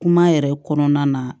Kuma yɛrɛ kɔnɔna na